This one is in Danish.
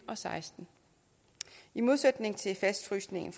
og seksten i modsætning til fastfrysningen